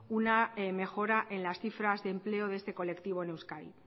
una mejora en las cifras de empleo de este colectivo en euskadi